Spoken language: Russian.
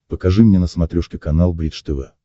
покажи мне на смотрешке канал бридж тв